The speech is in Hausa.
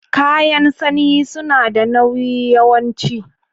Kayan sanyi sunada nauyi yawanci